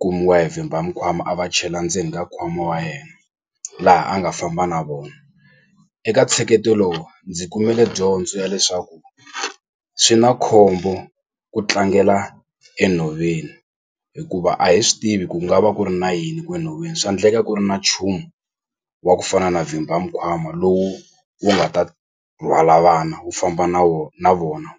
kumiwa hi vhimba mikwama a va chela ndzeni ka nkwama wa yena laha a nga famba na vona eka ntsheketo lowu ndzi kumile dyondzo ya leswaku swi na khombo ku tlangela enhoveni hikuva a hi swi tivi ku nga va ku ri na yini enhoveni swa endleka ku ri na nchumu wa ku fana na vhimba mikwama lowu wu nga ta rhwala vana wu famba na na vona.